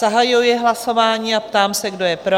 Zahajuji hlasování a ptám se, kdo je pro?